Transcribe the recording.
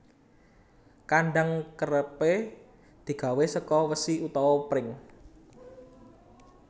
Kandhang kerepé digawé saka wesi utawa pring